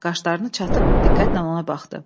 Qaşlarını çatıb diqqətlə ona baxdı.